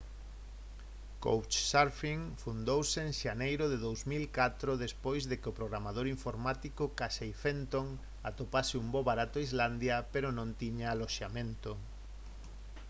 couchsurfing fundouse en xaneiro de 2004 despois de que o programador informático casey fenton atopase un voo barato a islandia pero non tiña aloxamento